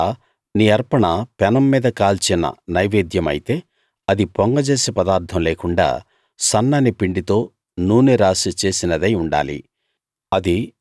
ఒకవేళ నీ అర్పణ పెనం మీద కాల్చిన నైవేద్యమైతే అది పొంగజేసే పదార్ధం లేకుండా సన్నని పిండితో నూనె రాసి చేసినదై ఉండాలి